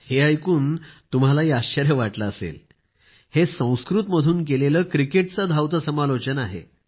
हे ऐकून तुम्हालाही आश्चर्य वाटले असेल हे संस्कृत मधून केलेले क्रिकेटचे धावते समालोचन आहे